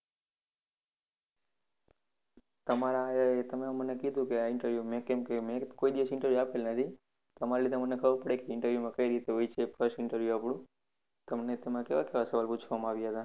તમારા એ તમે મને કીધું કે આ interview કોઈ દિવસ interview આપેલા નથી તમારા લીધે મને ખબર પડી interview કઈ રીતે હોય છે first interview આપણું. તમને તેમાં કેવા કેવા સવાલ પૂછવામાં આવ્યા હતા?